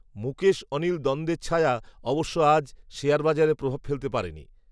মুকেশঅনিল দ্বন্দের ছায়া, অবশ্য আজ, শেয়ার বাজারে প্রভাব ফেলতে পারেনি